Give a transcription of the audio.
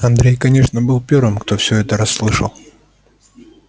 андрей конечно был первым кто все это расслышал